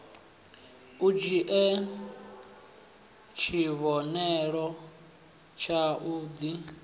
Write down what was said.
u dzhie tshivhonelo tshau d